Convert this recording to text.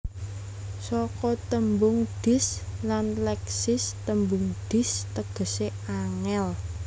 Saka tembung Dis lan Leksis tembung Dis tegesé angel